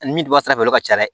Ni min bɔ sira fɛ olu ka ca dɛ